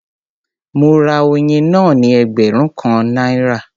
Mo ra oyin náà ní ẹgbẹ̀rún kan náírà.